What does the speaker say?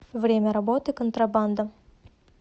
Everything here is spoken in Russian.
время работы контрабанда